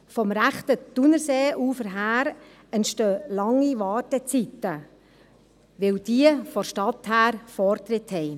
Vom rechten Thunerseeufer her entstehen lange Wartezeiten, weil jene, die von der Stadt her kommen, Vortritt haben.